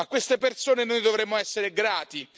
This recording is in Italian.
A queste persone noi dovremmo essere grati.